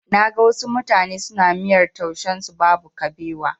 Na ga wasu mutane suna miyar taushen su babu kabewa.